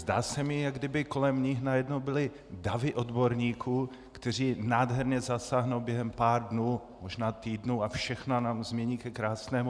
Zdá se mi, jako kdyby kolem nich najednou byly davy odborníků, kteří nádherně zasáhnou během pár dnů, možná týdnů, a všechno nám změní ke krásnému.